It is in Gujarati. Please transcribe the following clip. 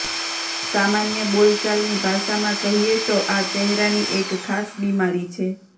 સામાન્ય બોલચાલની ભાષામાં કહીએ તો આ ચહેરાની એક ખાસ બિમારી છે